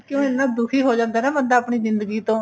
ਕਿਉਂਕਿ ਇੰਨਾ ਦੁਖੀ ਹੀ ਜਾਂਦਾ ਨਾ ਬੰਦਾ ਆਪਣੀ ਜਿੰਦਗੀ ਤੋਂ